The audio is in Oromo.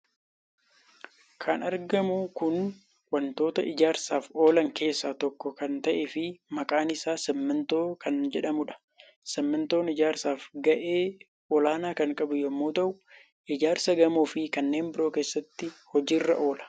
Kan argamu kun waantoota ijaarsaaf oolan keessaa tokko kan ta'e fi maqaan isaa 'Simmintoo' kan jedhamuudha. Simmintoon ijaarsaaf gahee olaanaa kan qabuu yommuu ta'u ijaarsa gamoo fi kanneen biroo keessatti hojiirra oola.